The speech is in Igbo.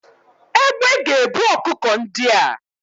Egbé ga ebu ọkụkọ ndịa